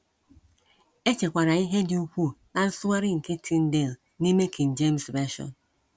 E chekwara ihe dị ukwuu ná nsụgharị nke Tyndale n’ime King James Version.